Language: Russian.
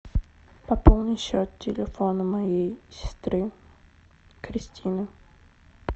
пополни счет телефона моей сестры кристины